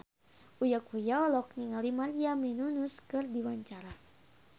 Uya Kuya olohok ningali Maria Menounos keur diwawancara